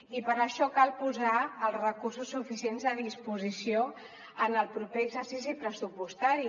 i per això cal posar els recursos suficients a disposició en el proper exercici pressupostari